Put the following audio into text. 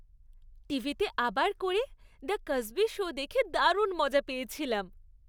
টিভিতে আবার করে "দ্য কসবি শো" দেখে দারুণ মজা পেয়েছিলাম।